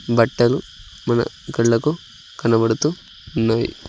బట్టలు మన కళ్ళకు కనబడుతూ ఉన్నాయి.